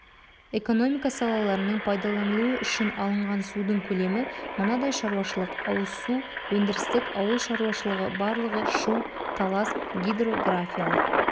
экономика салаларының пайдаланылуы үшін алынған судың көлемі мынадай шаруашылық-ауыз су өндірістік ауыл шаруашылығы барлығы шу-талас гидрографиялық